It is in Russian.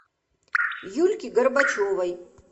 юльки горбачевой